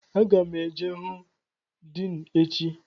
Aga m eje hụ Din echi